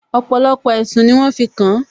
Ọ̀pọ̀lọpọ̀ ẹ̀sùn ni wọ́n fi kàn